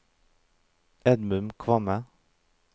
Edmund Kvamme